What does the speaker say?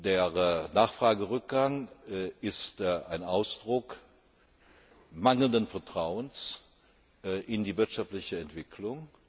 Der Nachfragerückgang ist ein Ausdruck mangelnden Vertrauens in die wirtschaftliche Entwicklung.